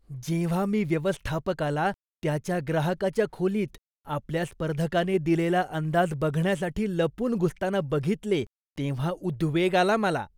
जेव्हा मी व्यवस्थापकाला त्याच्या ग्राहकाच्या खोलीत आपल्या स्पर्धकाने दिलेला अंदाज बघण्यासाठी लपून घुसताना बघितले तेव्हा उद्वेग आला मला.